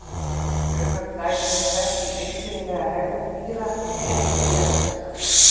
Fjölmörg dæmi eru þekkt um einkennilega hegðun dýra rétt fyrir jarðskjálfta.